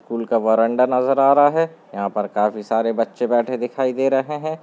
School का बरंडा नजर आ रहा है यहाँ पर काफी सारे बच्चे बैठे दिखाई दे रहें हैं।